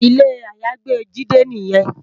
Ilé àyágbé Jide niyèn